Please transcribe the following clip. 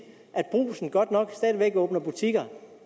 at brugsen godt nok stadig væk åbner butikker